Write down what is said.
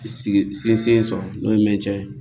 Sinsin sɔrɔ n'o ye mɛncɛn ye